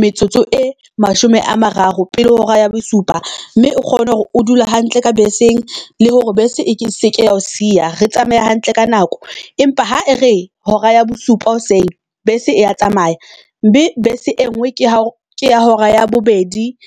metsotso e mashome a mararo pele ho hora ya bosupa mme o kgone hore o dule hantle ka beseng le hore bese eke seke ya o siya. Re tsamaye hantle ka nako, empa ha e re hora ya bosupa hoseng bese ya tsamaya mme bese e ngwe ke ha ke ya hora ya bobedi